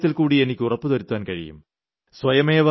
ഒരു കാര്യത്തിൽക്കൂടി എനിയ്ക്ക് ഉറപ്പുവരുത്താൻ കഴിയും